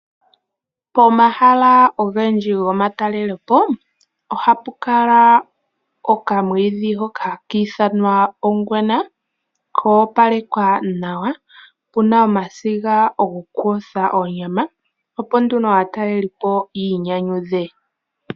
Pomahala ogendji gomatalelepo ohapu kala okamwiidhi hoka hakiithanwa ongwena ko opalekwa nawa, pu na omasiga gokuyotha onyama opo nduno aatalelipo yiinyanyudhe.